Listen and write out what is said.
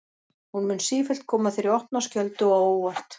Hún mun sífellt koma þér í opna skjöldu og á óvart.